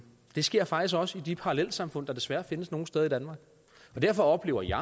det sker faktisk også i de parallelsamfund der desværre findes nogle steder i danmark derfor oplever jeg